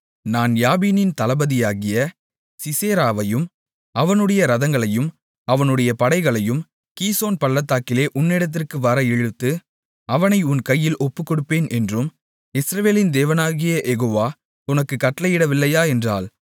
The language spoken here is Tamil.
நான் யாபீனின் தளபதியாகிய சிசெராவையும் அவனுடைய ரதங்களையும் அவனுடைய படைகளையும் கீசோன் பள்ளத்தாக்கிலே உன்னிடத்திற்கு வர இழுத்து அவனை உன் கையில் ஒப்புகொடுப்பேன் என்றும் இஸ்ரவேலின் தேவனாகிய யெகோவா உனக்குக் கட்டளையிடவில்லையா என்றாள்